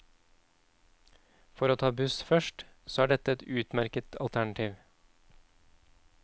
For å ta buss først, så er dette et utmerket alternativ.